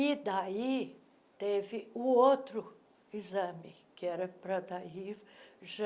E daí teve o outro exame, que era para daí já